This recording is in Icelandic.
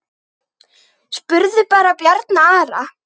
Spurðu bara Bjarna Ara!